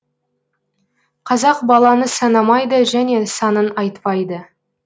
қазақ баланы санамайды және санын айтпайды